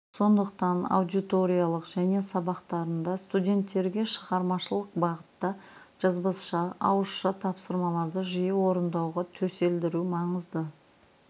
сондықтан аудиториялық және сабақтарында студенттерге шығармашылық бағыттағы жазбаша ауызша тапсырмаларды жиі орындауға төселдіру маңызды